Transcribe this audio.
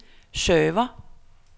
server